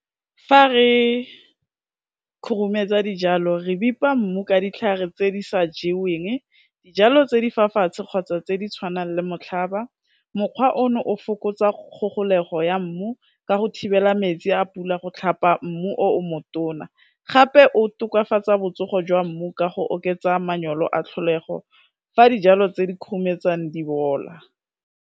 Fa re khurumetsa dijalo re bipa mmu ka ditlhare tse di sa jeweng, dijalo tse di fa fatshe kgotsa tse di tshwanang le motlhaba, mokgwa o no o fokotsa kgogolego ya mmu, ka go thibela metsi a pula go tlhapa mmu o o motona gape o tokafatsa botsogo jwa mmu ka go oketsa manyolo a tlholego fa dijalo tse di khurumetswang di bola.